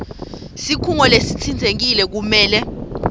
sikhungo lesitsintsekile kumele